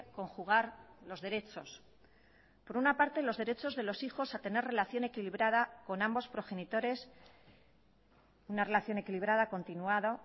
conjugar los derechos por una parte los derechos de los hijos a tener relación equilibrada con ambos progenitores una relación equilibrada continuada